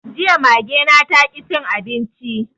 Jiya Mage na taƙi cin abinci